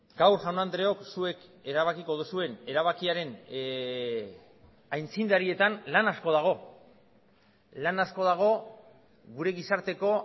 gaur jaun andreok zuek erabakiko duzuen erabakiaren aitzindarietan lan asko dago lan asko dago gure gizarteko